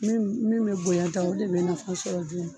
Min min be bonyan tan o de be nafɔ sɔrɔ joona